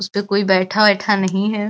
उसपे कोई बैठा वैठा नहीं है।